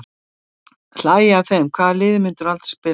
Hlægja af þeim Hvaða liði myndir þú aldrei spila með?